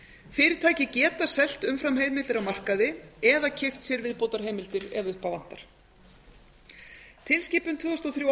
fyrirtæki geta selt umframheimildir á markaði eða keypt sér viðbótarheimildir ef upp á vantar tilskipun tvö þúsund